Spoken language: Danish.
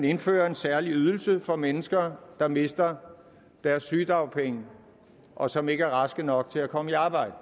indføre en særlig ydelse for mennesker der mister deres sygedagpenge og som ikke er raske nok til at komme i arbejde